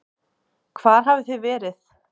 Hvar hafið þið verið?